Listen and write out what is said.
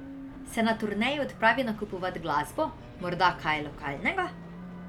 Se na turneji odpravi nakupovat glasbo, morda kaj lokalnega?